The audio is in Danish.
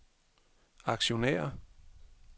aktionærer